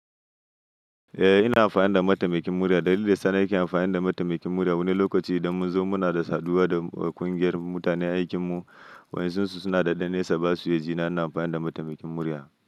Eh ina amfani da mataimakin murya. Dalilin da sana'ar kake amfani da mataimakin murya wani lokaci idan mun zo muna da saduwa da ƙungiyar mutanen aikin mu waɗansu suna da ɗan nesa ba su ya jina ina amfani da mataimakin murya.